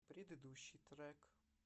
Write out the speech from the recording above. предыдущий трек